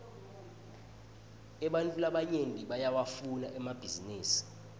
ebantfu labanyenti bayawafuna emabhisinisi